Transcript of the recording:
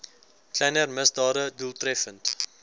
kleiner misdade doeltreffend